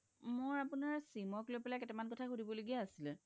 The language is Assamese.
মোৰ আপুনাৰ sim ক লই পেলাই কেইতা মান কথা সুধিব লগিয়া আছিলে